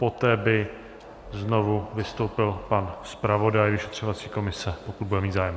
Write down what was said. Poté by znovu vystoupil pan zpravodaj vyšetřovací komise, pokud bude mít zájem.